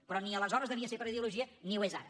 però ni aleshores devia ser per ideologia ni ho és ara